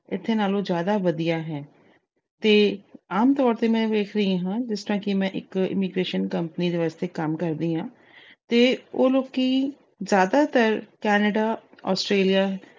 ਇੱਥੇ ਨਾਲੋਂ ਜਿਆਦਾ ਵਧੀਆ ਹੈ ਤੇ ਆਮ ਤੌਰ ਤੇ ਮੈਂ ਵੇਖ ਰਹੀ ਹੂਂ ਜਿਸ ਤਰ੍ਹਾਂ ਕਿ ਮੈਂ ਇੱਕ immigration company ਵਾਸਤੇ ਕੰਮ ਕਰਦੀ ਹਾਂ ਤੇ ਉਹ ਲੋਕੀ ਜਿਆਦਾਤਰ Canada Australia